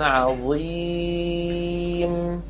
عَظِيمٌ